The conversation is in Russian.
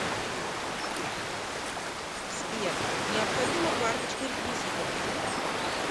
сбер необходима карточка реквизитов